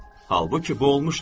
Halbuki bu olmuşdur.